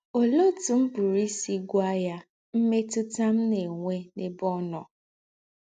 Òléè ótù m̀ pụ̀rụ́ ísì gwá ya m̀mètútà m̀ ná-ènwè n’èbè ọ́ nọ́? ”